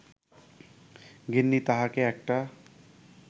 গিন্নি তাহাকে একটা